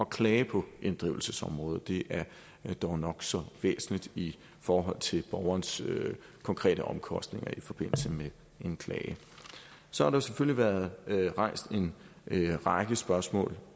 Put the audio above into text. klage på inddrivelsesområdet det er dog nok så væsentligt i forhold til borgernes konkrete omkostninger i forbindelse med en klage så har der selvfølgelig været rejst en række spørgsmål